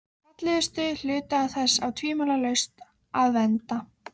Það var svo hryllilega leiðinlegt að prjóna.